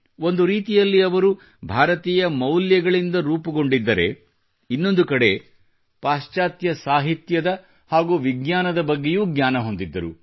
ಒಂದು ರೀತಿಯಲ್ಲಿ ಅವರು ಭಾರತೀಯ ಮೌಲ್ಯಗಳಿಂದ ರೂಪುಗೊಂಡಿದ್ದರೆ ಇನ್ನೊಂದು ಕಡೆ ಪಾಶ್ಚಾತ್ಯ ಸಾಹಿತ್ಯದ ಹಾಗೂ ವಿಜ್ಞಾನದ ಬಗ್ಗೆಯೂ ಜ್ಞಾನ ಹೊಂದಿದ್ದರು